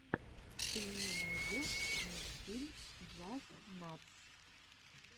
ты мне найдешь мультфильм джастнатс